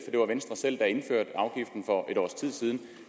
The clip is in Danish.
det var venstre selv der indførte afgiften for et års tid siden